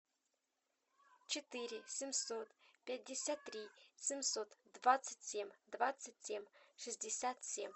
четыре семьсот пятьдесят три семьсот двадцать семь двадцать семь шестьдесят семь